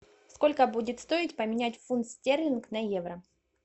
сколько будет стоить поменять фунт стерлинг на евро